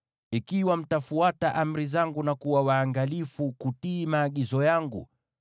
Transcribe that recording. “ ‘Ikiwa mtafuata amri zangu na kuwa waangalifu kutii maagizo yangu,